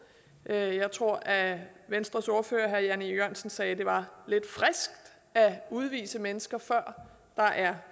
jeg tror at venstres ordfører herre jan e jørgensen sagde at det var lidt friskt at udvise mennesker før der er